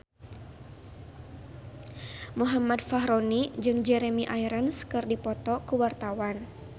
Muhammad Fachroni jeung Jeremy Irons keur dipoto ku wartawan